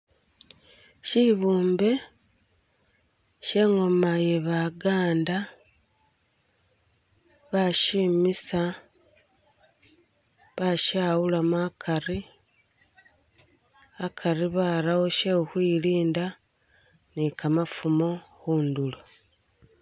Shibumbe, she ingoma iye baganda ba shimisa, ba shawulamo akari akari barawo she khukhwilinda ni kamafumo khundulo.